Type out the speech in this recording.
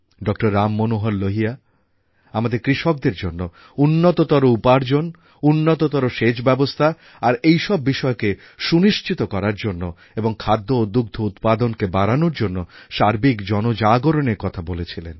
ডঃ রামমনোহর লোহিয়া আমাদের কৃষকদের জন্য উন্নততর উপার্জন উন্নততর সেচব্যবস্থা আর এই সব বিষয়কে সুনিশ্চিত করার জন্য এবং খাদ্য ও দুগ্ধ উৎপাদনকে বাড়ানোর জন্য সার্বিক জনজাগরণের কথা বলেছিলেন